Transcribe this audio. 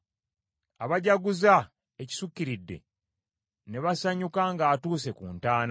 abajaguza ekisukkiridde, ne basanyuka ng’atuuse ku ntaana?